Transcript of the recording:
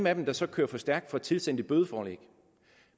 af dem der så kører for stærkt får tilsendt et bødeforelæg